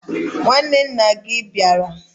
Nwanne na gia abiara?